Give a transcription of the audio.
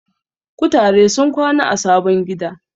Kutare sun kwana a sabon gida.